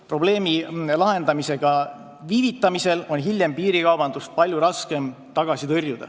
Probleemi lahendamisega viivitamise korral on hiljem piirikaubandust tõrjuda palju raskem.